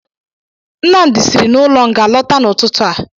Nnamdi siri n'ụlọ nga lọta n'ụtụtụ a.